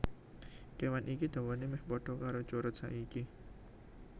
Kéwan iki dawané mèh padha karo curut saiki